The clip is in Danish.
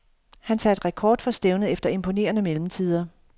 Han satte rekord for stævnet efter imponerende mellemtider.